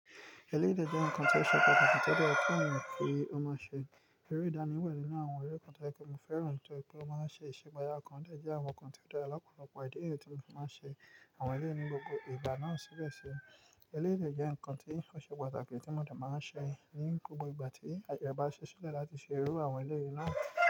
Eléyìí jẹ́ ǹkan tó ṣẹ̀ṣẹ̀ pàtàkì tó dára pẹ̀lú òun kí ó má ṣe rí ìdánimọ̀ nínú àwọn eré kan tí ẹkún fẹ́ràn tó pẹ̀lú ó máa ṣe ṣègbéyàá kan dáàjá àwọn ǹkan tó dára lọ́pọ̀lọpọ̀ ìdí rè tí ó máa ń ṣe àwọn eré ní gbogbo ìgbà náà síbẹ̀ ṣe eléyìí jẹ́ ǹkan tí ń óse pàtàkì tí mo dà máa ń ṣe ní gbogbo ìgbà tí àjọba ṣe ṣẹ́lẹ̀ láti ṣe irú àwọn eléyìí náà.